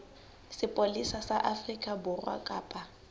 sepolesa sa afrika borwa kapa